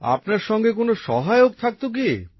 আপনার সঙ্গে কোনো সহায়ক থাকত কি